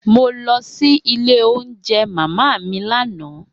Mo lọ si ile ounjẹ mama mi lana.